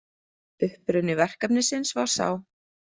Uppruni verkefnisins var sá.